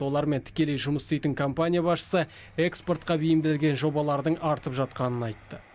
олармен тікелей жұмыс істейтін компания басшысы экспортқа бейімделген жобалардың артып жатқанын айтты